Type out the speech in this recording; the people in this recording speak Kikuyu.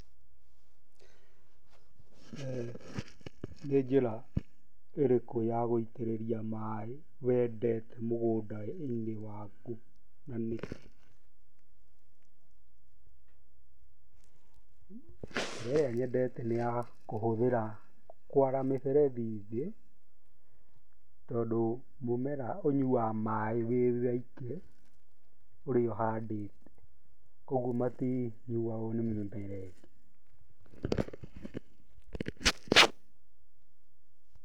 Nĩ njĩra ĩrĩkũ ya gũitĩrĩria maaĩ wendete mũgũnda-inĩ waku na nĩkĩ? Njĩra ĩrĩa nyendete nĩ ya kũhũthĩra, nĩ ya kwara mĩberethi thĩ, tondũ mũmera ũnyuaga maĩ wĩ woike ũrĩa ũhandĩte ũguo matinyuagwo nĩ mĩmera ĩngĩ.